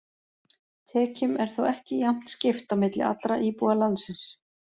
Tekjum er þó ekki jafnt skipt á milli allra íbúa landsins.